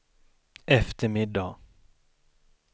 eftermiddag